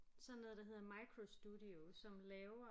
Sådan noget der hedder microstudio som laver